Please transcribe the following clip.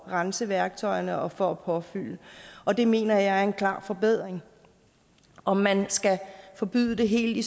rense værktøjerne og for at påfylde og det mener jeg er en klar forbedring om man skal forbyde det helt i